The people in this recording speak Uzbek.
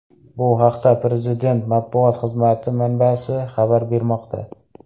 Bu haqda Prezident matbuot xizmati manbasi xabar bermoqda.